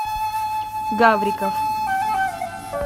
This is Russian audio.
гавриков